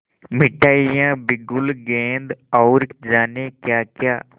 मिठाइयाँ बिगुल गेंद और जाने क्याक्या